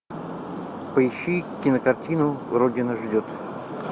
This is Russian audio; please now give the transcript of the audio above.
поищи кинокартину родина ждет